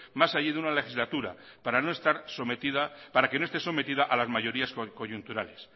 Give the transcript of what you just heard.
más allí de una legislatura para que no esté sometida a la mayoría coyunturales